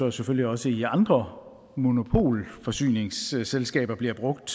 og selvfølgelig også i andre monopolforsyningsselskaber bliver brugt